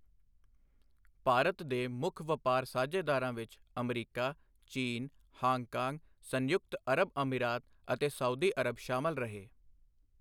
ਭਾਰਤ ਦੇ ਮੁੱਖ ਵਪਾਰ ਸਾਝੇਦਾਰਾਂ ਵਿੱਚ ਅਮਰੀਕਾ, ਚੀਨ, ਹਾਂਗਕਾਂਗ, ਸੰਯੁਕਤ ਅਰਬ ਅਮੀਰਾਤ ਅਤੇ ਸਾਊਦੀ ਅਰਬ ਸ਼ਾਮਿਲ ਰਹੇ।